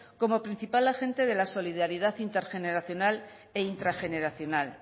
como principal agente de la solidaridad intergeneracional e intrageneracional